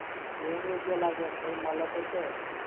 જેમ યોગ્ય લાગે એમ. તઇ મળે તો છે!